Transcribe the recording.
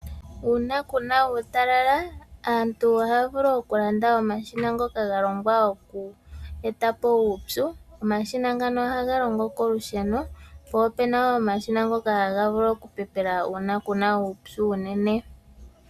Uuna kuna uutalala aantu ohaya vulu okulanda omashina ngoka galongwa oku etapo uupyu. Omashina ngano ohaga longo kolusheno po opuna omashina ngoka haga vulu okupepela uuna kuna uupyu unene.